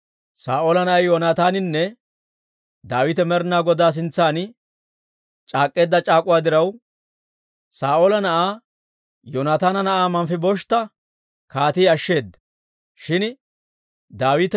Saa'oola na'ay Yoonataaninne Daawite Med'inaa Godaa sintsan c'aak'k'eedda c'aak'uwaa diraw, Saa'oola na'aa Yoonataana na'aa Manfibosheeta kaatii ashsheeda.